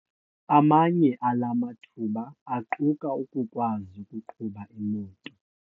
Amanye ala mathuba aquka ukukwazi ukuqhuba imoto.